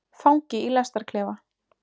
Fangi í lestarklefa.